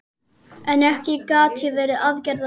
En ekki gat ég verið aðgerðalaus.